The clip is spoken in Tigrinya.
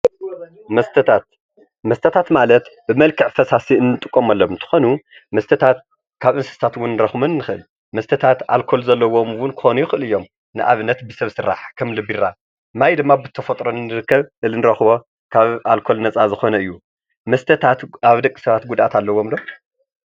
መስተታት፦ መስተታት ማለት ብመልክዕ ፈሳሲ አንትቀመሎም እንትኮኑ፣ መስተታት ካብ እንስሳት እውን ክንርክቦም ንክእል፡፡ መስተታት ኣልኮል ዘለዎም እውን ክኮኑ ይክእሉ እዮም፡፡ ንኣብነት ብሰብ ስራሕ ከም እኒ ቢራ፣ ማይ ድማ ብተፈጥሮ ዝርከብ ካብ ኣልኮል ነፃ ዝኮነ እዩ፡፡ መስተታት ኣብ ደቂ ሰባት ጉድኣት ኣለዎም ዶ?